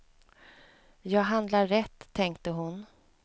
Jag handlar rätt, tänkte hon.